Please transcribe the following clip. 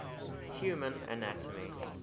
human anatomy